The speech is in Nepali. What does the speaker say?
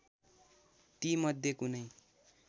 ती मध्ये कुनै